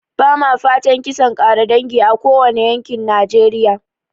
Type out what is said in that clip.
Ba ma fatan kisan ƙare dangi a kowane yankin najeriya